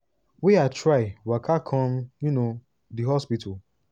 wey i try waka come um di hospital